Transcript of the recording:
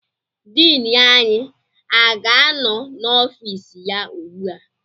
Diini anyị aga-anọ n'ọfịs ya ugbu a?